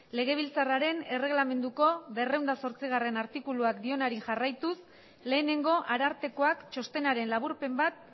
legebiltzarraren erreglamenduko berrehun eta zortzigarrena artikuluak dionari jarraituz lehenengo arartekoak txostenaren laburpen bat